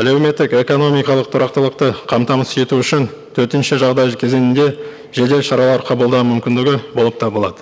әлеуметтік экономикалық тұрақтылықты қамтамасыз ету үшін төтенше жағдай кезеңінде жедел шаралар қабылдау мүмкіндігі болып табылады